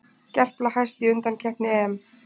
Gerpla hæst í undankeppni EM